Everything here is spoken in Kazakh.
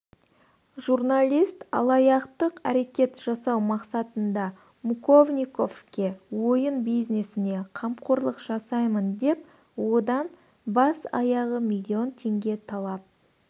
журналист алаяқтық әрекет жасау мақсатында муковниковке ойын бизнесіне қамқорлық жасаймын деп одан бас-аяғы миллион теңге талап